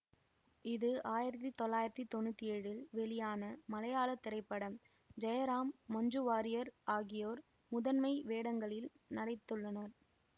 இது ஆயிரத்தி தொள்ளாயிரத்தி தொன்னூற்தி ஏழில் வெளியான மலையாள திரைப்படம் ஜெயராம் மஞ்சு வார்யர் ஆகியோர் முதன்மை வேடங்களில் நடித்துள்ளனர்